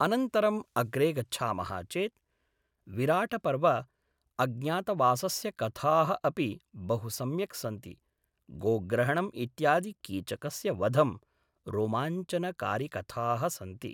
अनन्तरम् अग्रे गच्छामः चेत् विराटपर्व अज्ञातवासस्य कथाः अपि बहु सम्यक् सन्ति गोग्रहणम् इत्यादि कीचकस्य वधम् रोमाञ्चनकारिकथाः सन्ति